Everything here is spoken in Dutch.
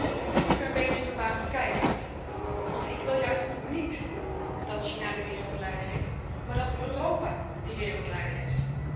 En ik zie u een beetje verbaasd kijken, want ik wil juist niet dat China de wereldleider is, maar dat Europa die wereldleider is.